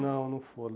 Não, não foram.